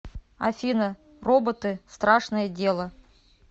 афина роботы страшное дело